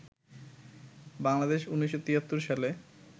বাংলাদেশ ১৯৭৩ সালে